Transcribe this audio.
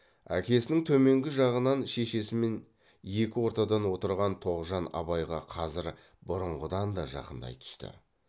әкесінің төменгі жағынан шешесімен екі ортадан отырған тоғжан абайға қазір бұрынғыдан да жақындай түсті